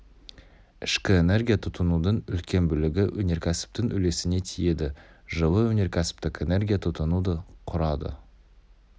ішкі энергия тұтынудың үлкен бөлігі өнеркәсіптің үлесіне тиеді жылы өнеркәсіптік энергия тұтыну ды құрады